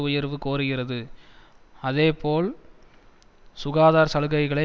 உயர்வு கோருகிறது அதேபோல் சுகாதார சலுகைகளை